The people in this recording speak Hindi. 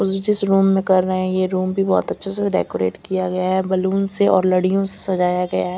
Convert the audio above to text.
जिस रूम में कर रहे हैं यह रूम भी बहुत अच्छे से डेकोरेट किया गया है बैलून से और लड़ियों से सजाया गया है।